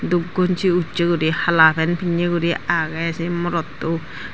dup gongi ussay ussay gori hala pant pinne gori aage se morotto.